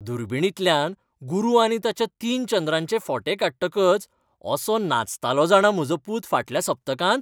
दुर्बिणींतल्यान गुरू आनी ताच्या तीन चंद्रांचे फोटे काडटकच असो नाचतालो जाणा म्हजो पूत फाटल्या सप्तकांत!